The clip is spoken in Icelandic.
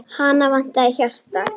Hana vantaði hjarta.